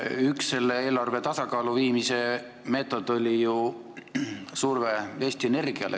Üks selle eelarve tasakaalu viimise meetod oli ju surve Eesti Energiale.